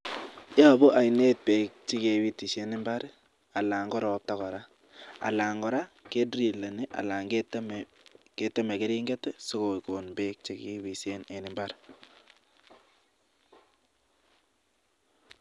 Yobu oinet beek che kebitishen mbar alan ko ropta kora, anan kora kedrileni anan keteme keringet asi kogon beek che kebisen en mbar.